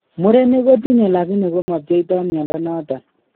Murenik kotinye lakini komapcheito mnyondo noton